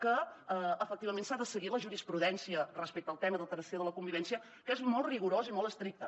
que efectivament s’ha de seguir la jurisprudència respecte al tema d’alteració de la convivència que és molt rigorós i molt estricte